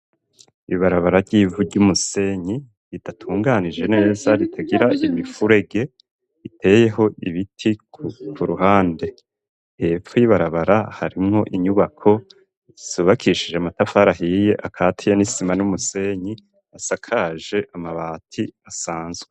Ibarabara ry'ivu ry'umusenyi ridatunganije neza ritagira imifurege iteyeho ibiti ku ruhande hepfo y'ibarabara harimwo inyubako yubakishije amatafari ahiye akatiye n'isima n'umusenyi asakaje amabati asanzwe.